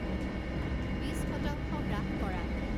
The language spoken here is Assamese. বিচ শতাংশ হ্ৰাস কৰা